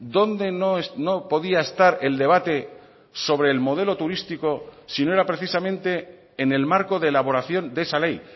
dónde no podía estar el debate sobre el modelo turístico si no era precisamente en el marco de elaboración de esa ley